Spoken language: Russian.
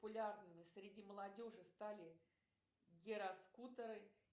популярными среди молодежи стали гироскутеры